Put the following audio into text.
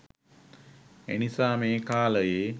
ඒනිසා මේ කාලයේ